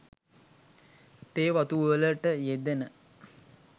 තේ වතු වලට යෙදෙන